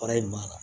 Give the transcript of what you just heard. Fara in ma